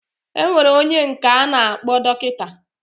Enwere onye nka ana akpo dokita.